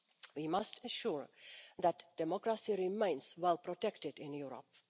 We must ensure that democracy remains well protected in Europe.